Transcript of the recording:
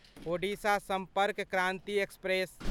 Odisha Sampark Kranti express